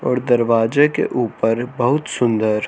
औड़ दरवाजे के ऊपर बहुत सुंदर--